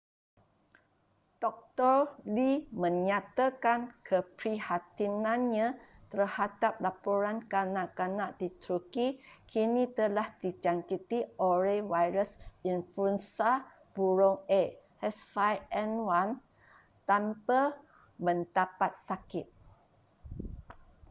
doktor lee menyatakan keprihatinannya terhadap laporan kanak-kanak di turki kini telah dijangkiti oleh virus influenza burung a h5n1 tanpa mendapat sakit